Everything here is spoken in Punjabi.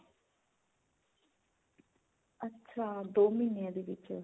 ਅੱਛਾ ਦੋ ਮਹੀਨਿਆ ਦੇ ਵਿੱਚ